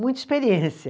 Muita experiência.